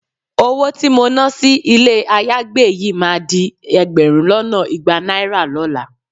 Owó tí mo náà sí ilé ayágbé yìí máa di ẹgbẹ̀rún lọ́nà igba náírà lọ́la